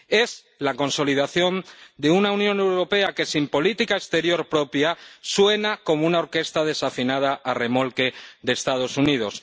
Es la consolidación de una Unión Europea que, sin política exterior propia, suena como una orquesta desafinada a remolque de Estados Unidos.